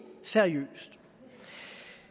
seriøst